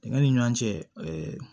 Dingɛ nin ɲɔn cɛ